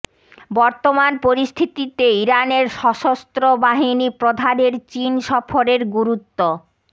বর্তমান পরিস্থিতিতে ইরানের সশস্ত্র বাহিনী প্রধানের চীন সফরের গুরুত্ব